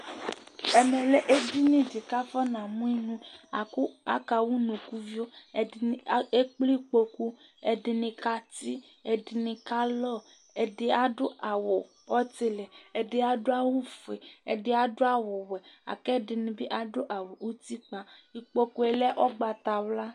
ɛmɛ lɛ edini di k'afɔna mo inu la kò aka wa unukuvio ɛdini ekple ikpoku ɛdini kati ɛdini ka lɔ ɛdi adu awu ɔtili ɛdi adu awu fue ɛdi adu awu wɛ la kò ɛdini bi adu awu utikpa ikpoku yɛ lɛ ugbata wla